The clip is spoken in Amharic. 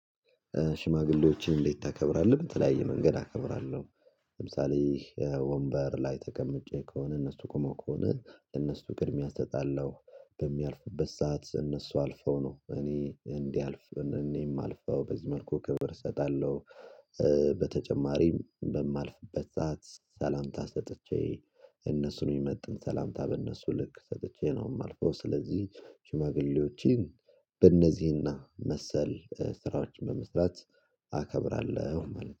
ሽማግሌዎችን እንዴት ታከብራለህ? በተለያየ መንገድ አከብራለሁ። ለምሳሌ ወንበር ላይ ተቀምጬ ከሆነ እነሱ ቆመው ከሆነ ለእነሱ ቅድሚያ እሰጣለሁ። በሚያልፉበት ሰዓት እነሱ አልፈው ነው እኔ እንዲያልፍ እኔ የማልፈው በዚህ መልኩ ክብር እሰጣለሁ። በተጨማሪም በማልፍበት ሰዓት ሰላምታ ሰጥቼ እነሱን የሚመጣን ሰላምታ በእነሱ ልክ ሰጥቼ ነው የማልፈው። ስለዚህ ሽማግሌዎችን በእነዚህና መሰል ስራዎች በመስራት አከብራለሁ